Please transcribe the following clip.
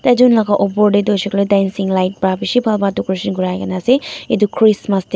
etu lagan opor tae toh hoisey koiley dancing light para bishi bhal para decoration kurai na ase etu christmas tae.